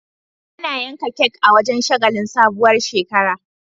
Ana yanka kek a wajan shagalin sabuwar shekara